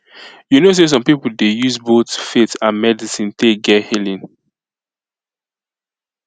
you know say some people dey use both faith and medicine take get healing